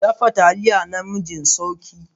Dafa Taliya naming Sauki.